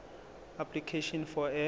application for a